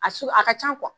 A su a ka ca